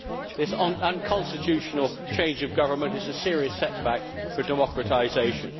This unconstitutional change of government is a serious setback for democratisation.